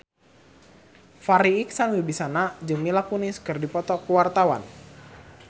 Farri Icksan Wibisana jeung Mila Kunis keur dipoto ku wartawan